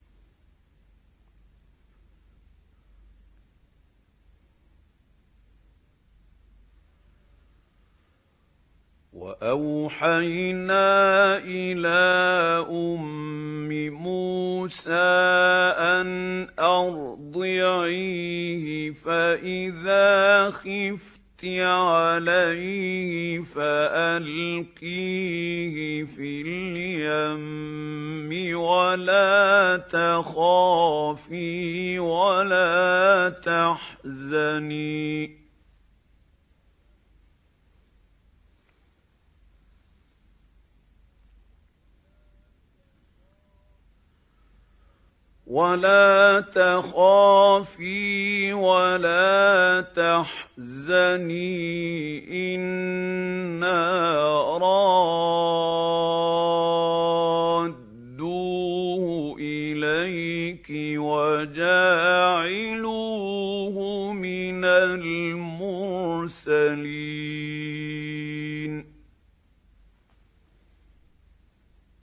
وَأَوْحَيْنَا إِلَىٰ أُمِّ مُوسَىٰ أَنْ أَرْضِعِيهِ ۖ فَإِذَا خِفْتِ عَلَيْهِ فَأَلْقِيهِ فِي الْيَمِّ وَلَا تَخَافِي وَلَا تَحْزَنِي ۖ إِنَّا رَادُّوهُ إِلَيْكِ وَجَاعِلُوهُ مِنَ الْمُرْسَلِينَ